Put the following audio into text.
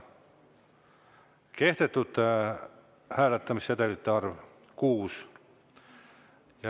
Kehtetute hääletamissedelite arv – 6.